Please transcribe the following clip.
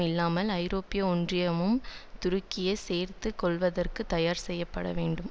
இல்லாமல் ஐரோப்பிய ஒன்றியமும் துருக்கியைச் சேர்த்து கொள்ளவதற்குத் தயார் செய்ய படவேண்டும்